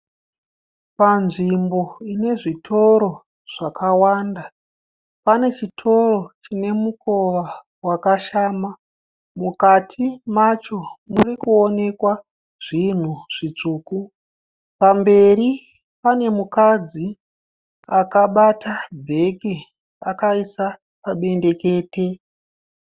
Panzvimbo ine zvitoro zvakawanda. Pane chitoro chine mukowa wakashama. Mukati macho muri kuonekwa zvinhu zvitsvuku. Pamberi pane mukadzi akabata bheke akaisa pabendekete.